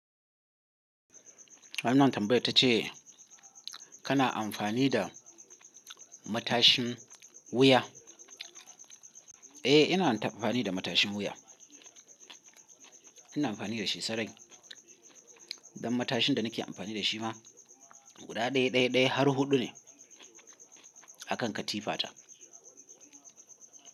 Wannan tambayar ta ce kana amfani da matashin wuya? Eh, ina amfani da matashin wuya. Ina amfani da shi sarai. Dan matashin da nake amfani da shi ma guda ɗaya, ɗaya, ɗaya har huɗu ne a kan katifata.